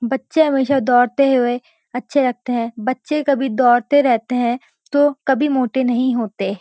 बच्चे हमेशा दोड़ते हुए अच्छे लगते हैं बच्चे कभी दोड़ते रहते हैं तो काभी मोटे नहीं होते।